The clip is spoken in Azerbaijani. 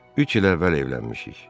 Üç il əvvəl evlənmişik.